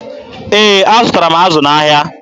Ee, azụtara m azụ n'ahịa.